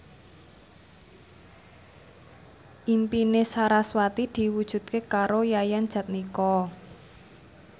impine sarasvati diwujudke karo Yayan Jatnika